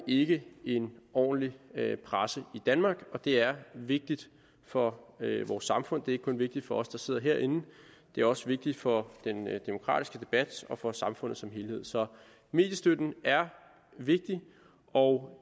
vi ikke en ordentlig presse i danmark og det er vigtigt for vores samfund det er ikke kun vigtigt for os der sidder herinde det er også vigtigt for den demokratiske debat og for samfundet som helhed så mediestøtten er vigtig og